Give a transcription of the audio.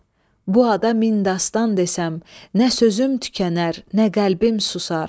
bu adam min dastan desəm, nə sözüm tükənər, nə qəlbim susar.